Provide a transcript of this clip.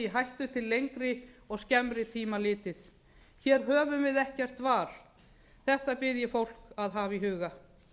hættu til lengri og skemmri tíma litið hér höfum við ekkert val þetta bið ég fólk að hafa í huga